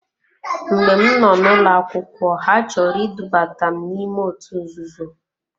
Mgbe m noo n'ụlọ akwụkwọ ha chọrọ idubata m n'ime otu nzuzo.